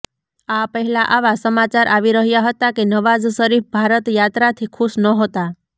આ પહેલા આવા સમાચાર આવી રહ્યા હતા કે નવાઝ શરીફ ભારત યાત્રાથી ખુશ નહોતા